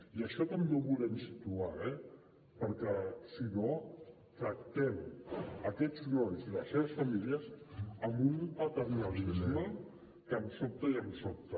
i això també ho volem situar eh perquè si no tractem aquests nois i les seves famílies amb un paternalisme que em sobta i em sobta